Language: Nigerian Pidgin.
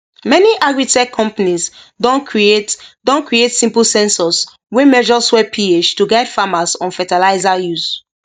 many agritech companies don create don create simple sensors wey measure soil ph to guide farmers on fertilizer use